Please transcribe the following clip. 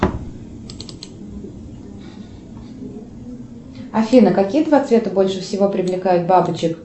афина какие два цвета больше всего привлекают бабочек